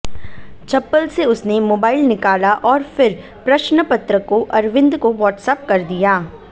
चप्पल से उसने मोबाइल निकाला और फिर प्रश्नपत्र को अरविंद को वाट्सएप कर दिया